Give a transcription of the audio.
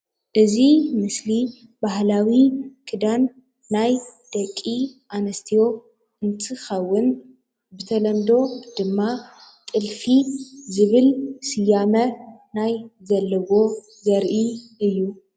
እዚ ምስሊ እዚ ባህላዊ ክዳን ናይ ደቂ ኣነስትዮ እንትኸውን ብተለምዶ ድማ ጥዕፊ ዝብል ስያሜ ናይ ዘለዎ ዘርኢ እዩ፡፡